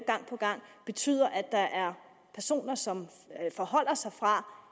gang på gang betyder at der er personer som afholder sig fra